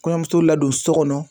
Kɔɲɔmuso ladon so kɔnɔ.